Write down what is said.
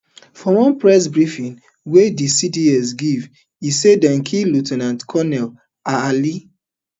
for one press briefing wey di cds give e say dem kill lieu ten ant colonel ah ali